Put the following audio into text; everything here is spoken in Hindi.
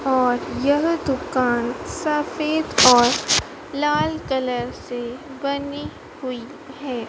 और यह दुकान सफेद और लाल कलर से बनी हुई है।